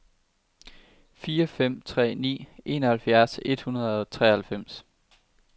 fire fem tre ni enoghalvfjerds et hundrede og treoghalvfems